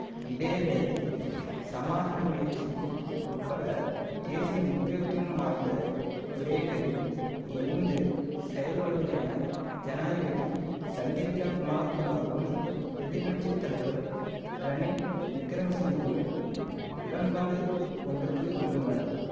இதேவேளை சமாதான முயற்சி உட்பட தேசிய முக்கியத்துவம் வாய்ந்த விடயங்களில் இணைந்து செயல்படுவதென ஜனாதிபதி சந்திரிகா குமாரதூங்காவும் எதிர் கட்சி தலைவர் ரணில் விக்கிரமசிங்கவும் உடன்பாடு ஒன்றுக்கு வந்துள்ளனர்